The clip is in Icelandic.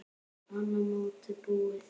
Annað mótið búið!